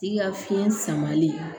I ka fiɲɛ samalen